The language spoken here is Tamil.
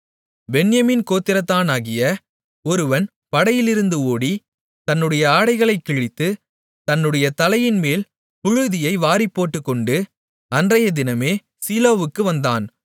பென்யமீன் கோத்திரத்தானாகிய ஒருவன் படையிலிருந்து ஓடி தன்னுடைய ஆடைகளைக் கிழித்து தன்னுடைய தலையின்மேல் புழுதியை வாரிப்போட்டுக்கொண்டு அன்றையதினமே சீலோவுக்கு வந்தான்